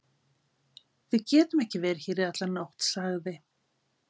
Við getum ekki verið hér í alla nótt, sagði